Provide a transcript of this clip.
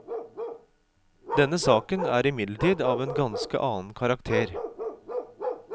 Denne saken er imidlertid av en ganske annen karakter.